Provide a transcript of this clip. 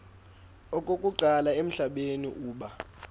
okokuqala emhlabeni uba